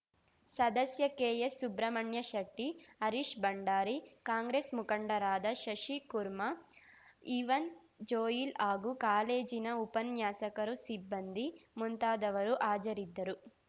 ಸದಸ್ಯ ಕೆಎಸ್‌ ಸುಬ್ರಹ್ಮಣ್ಯ ಶೆಟ್ಟಿ ಹರೀಶ್‌ ಭಂಡಾರಿ ಕಾಂಗ್ರೆಸ್‌ ಮುಖಂಡರಾದ Shashikurma Evan Joel ಹಾಗೂ ಕಾಲೇಜಿನ ಉಪನ್ಯಾಸಕರು ಸಿಬ್ಬಂದಿ ಮುಂತಾದವರು ಹಾಜರಿದ್ದರು